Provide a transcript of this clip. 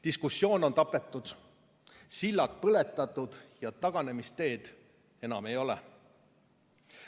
Diskussioon on tapetud, sillad põletatud ja taganemisteed enam ei ole.